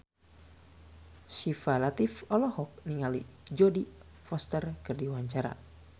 Syifa Latief olohok ningali Jodie Foster keur diwawancara